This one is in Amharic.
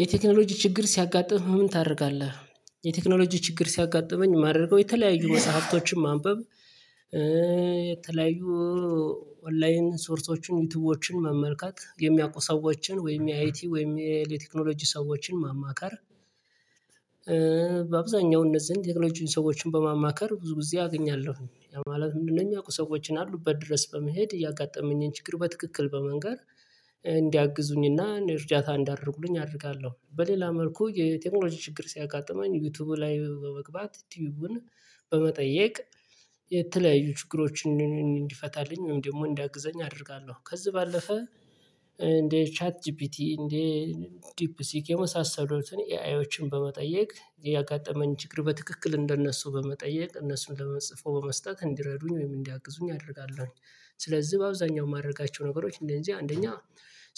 የቴክኖሎጂ ችግር ሲያጋጥምህ ምን ታደርጋለህ? የቴክኖሎጂ ችግር ሲያጋጥመኝ ማድረግ የተለያዩ መጽሐፍቶችን ማንበብ የተለያዩ ኦንላይን ሶርሶችን ዩቲዩብዎችን መመልከት የሚያውቁ ሰዎችን ወይም የአይቲ ወይም የቴክኖሎጂ ሰዎችን ማማካር። በአብዛኛው እነዚህ ዘንድ ቴክኖሎጂን ሰዎችን በማማከር ብዙ ጊዜ አገኛለሁ ማለት ምንድነው? የሚያውቁ ሰዎችን አሉበት ድረስ በመሄድ እያጋጠመኝን ችግር በትክክል በመንገር እንዲያግዙኝና እርዳታ እንዲያደርጉልኝ አደርጋለሁ። በሌላ መልኩ የቴክኖሎጂ ችግር ሲያጋጥመኝ ዩቲዩቡ ላይ በመግባት ቲዩብን በመጠየቅ የተለያዩ ችግሮችን እንዲፈታልኝ ወይም ደግሞ እንዲያግዘኝ አደርጋለሁ። ከዚህ ባለፈ እንዴ ቻት ጂፒቲ እንዴ ዲፕ ሲክ የመሳሰሉትን ኤአይዎችን በመጠየቅ ያጋጠመን ችግር በትክክል እንደነሱ በመጠየቅ እነሱን ጽፈው በመስጠት እንዲረዱኝ ወይም እንዲያቅዙኝ አደርጋለሁኝ። ስለዚህ በአብዛኛው የማደርጋቸው ነገሮች እንደዚህ አንደኛ